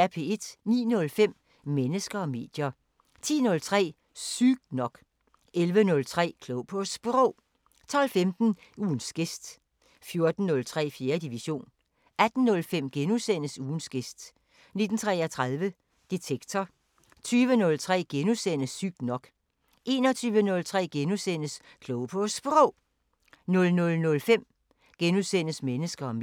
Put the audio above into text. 09:05: Mennesker og medier 10:03: Sygt nok 11:03: Klog på Sprog 12:15: Ugens gæst 14:03: 4. division 18:05: Ugens gæst * 19:33: Detektor 20:03: Sygt nok * 21:03: Klog på Sprog * 00:05: Mennesker og medier *